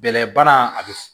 Bɛlɛ bana a bɛ f